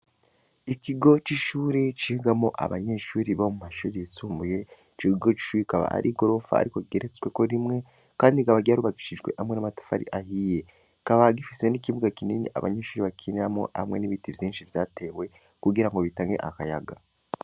Ikigo c'ishuri cigamwo abanyeshuri bo mu mashure yisumbuye, ico kigo c'ishure kikaba ari igorofa ariko kigeretsweko rimwe kandi cubakishijwe n'amatafari ahiye. Kikaba gifise n'ikibuga kinini abanyeshure bakiniramwo hamwe n'ibiti vyinshi vyatewe kugira ngo bitange akayaga.